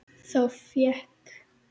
Þá fékk